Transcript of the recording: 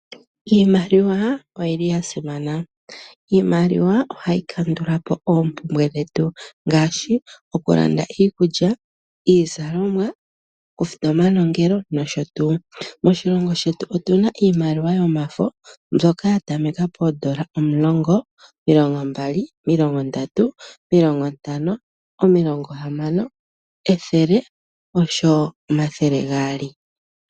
Iimaliwa oyi li ya simana nohayi tu kwatha okukandula po oompumbwe dhetu dhi ili nodhi ili. Oompumbwe ongaashi nee okulanda iikulya niizalomwa osho wo okufuta omanongelo. Moshilongo shetu otu na mo omaludhi giimaliwa yomafo, mboka ya tamekela pefo lyoondola dhaNamibia omulongo, omilongo mbali, omilongo ntano, ethele osho wo efo lyoondola omathele gaali.